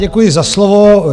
Děkuji za slovo.